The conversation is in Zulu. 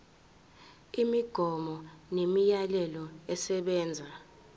imigomo nemiyalelo esebenza